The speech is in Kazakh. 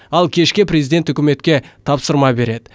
ал кешке президент үкіметке тапсырма береді